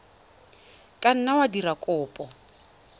ka nna wa dira kopo